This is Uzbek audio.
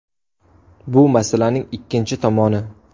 Bu masalaning ikkinchi tomoni.